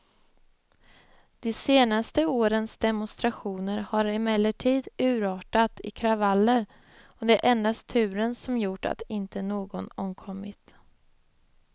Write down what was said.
De senaste årens demonstrationer har emellertid urartat i kravaller, och det är endast turen som gjort att inte någon omkommit.